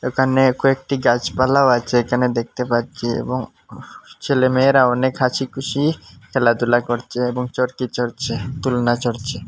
একানে কয়েকটি গাছপালাও আচে একানে দেখতে পাচচি এবং উফ ছেলেমেয়েরা অনেক হাসিখুশি খেলাধুলা করচে এবং চর্কি চড়ছে দোলনা চড়চে।